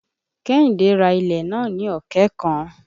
Kẹ́hìndé rá ilẹ̀ nàá ní ọ̀kẹ́ kan.